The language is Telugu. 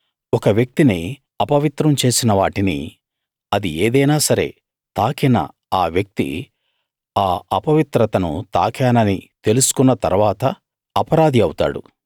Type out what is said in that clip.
ఒక వ్యక్తిని అపవిత్రం చేసిన వాటిని అది ఏదైనా సరే తాకిన వ్యక్తి ఆ అపవిత్రతను తాకానని తెలుసుకున్న తరువాత అపరాధి అవుతాడు